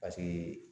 Paseke